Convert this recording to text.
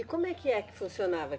E como é que é que funcionava?